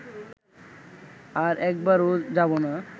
আর একবারও যাব না